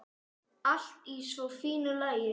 Allt í svo fínu lagi.